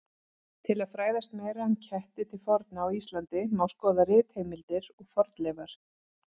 Til að fræðast meira um ketti til forna á Íslandi má skoða ritheimildir og fornleifar.